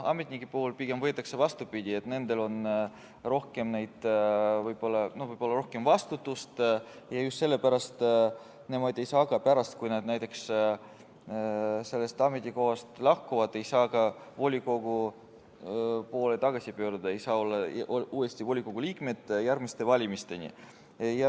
Ametnike puhul on pigem vastupidi, nendel on võib-olla rohkem vastutust ja just sellepärast nemad ei saa, aga pärast, kui nad näiteks sellelt ametikohalt lahkuvad, ei saa nad ka volikogusse tagasi pöörduda, ei saa järgmiste valimisteni olla uuesti volikogu liikmed.